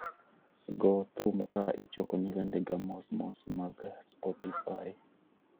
Go thum ka ichokoni wendega mos mos mag "Spotify